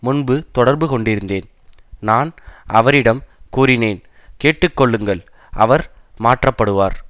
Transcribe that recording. முன்பு தொடர்புகொண்டிருந்தேன் நான் அவரிடம் கூறினேன் கேட்டு கொள்ளுங்கள் அவர் மாற்றப்படுவார்